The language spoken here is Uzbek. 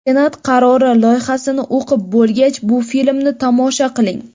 Senat qarori loyihasini o‘qib bo‘lgach, bu filmni tomosha qiling!